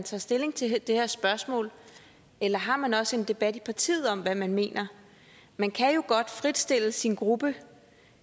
tager stilling til det her spørgsmål eller har man også en debat i partiet om hvad man mener man kan jo godt fritstille sin gruppe